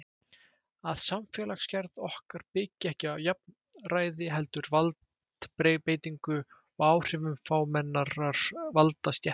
Að samfélagsgerð okkar byggi ekki á jafnræði heldur valdbeitingu og áhrifum fámennrar valdastéttar.